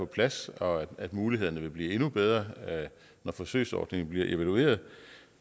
plads og at mulighederne vil blive endnu bedre når forsøgsordningen bliver evalueret